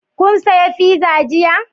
Kun saya fiza jiya?